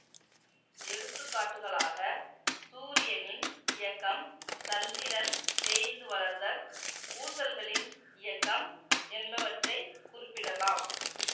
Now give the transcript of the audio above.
எடுத்துக்காட்டுகளாக சூரியனின் இயக்கம் சந்திரன் தேய்ந்து வளர்தல் ஊசல்களின் இயக்கம் என்பவற்றை குறிப்பிடலாம்